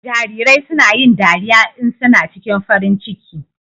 Jarirai suna yin dariya in suna cikin farin ciki.